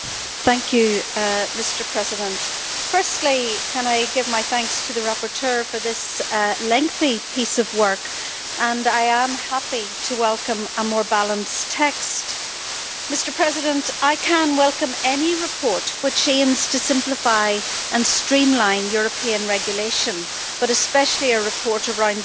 Mr President, firstly, I would like to give my thanks to the rapporteur for this lengthy piece of work, and I am happy to welcome a more balanced text. Mr President, I can welcome any report which aims to simplify and streamline European regulation, but especially a report around these important issues.